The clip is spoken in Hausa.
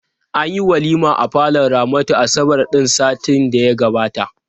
Anyi walima a falon Ramatu asabar ɗin satin da ya gabata.